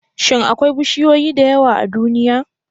Shin akwai bishiyoyi da yawa a duniya?